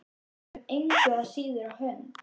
Gekk þeim engu að síður á hönd.